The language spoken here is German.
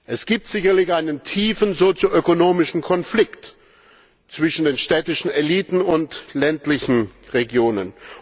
Es gibt sicherlich einen tiefen sozioökonomischen Konflikt zwischen den städtischen Eliten und den ländlichen Regionen.